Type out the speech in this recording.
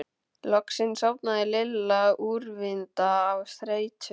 Loksins sofnaði Lilla úrvinda af þreytu.